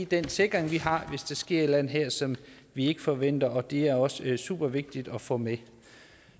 den sikring vi har hvis der sker et eller andet her som vi ikke forventer og det er også supervigtigt at få med